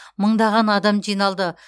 мыңдаған адам жиналды